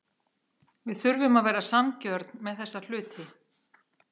Við þurfum að vera sanngjörn með þessa hluti.